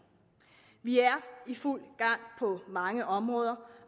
vi er i fuld gang på mange områder